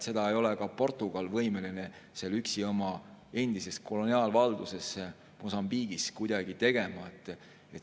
Seda ei ole ka Portugal võimeline üksi oma endises koloniaalvalduses Mosambiigis kuidagi tegema.